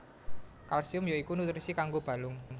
Kalsium ya iku nutrisi kanggo balung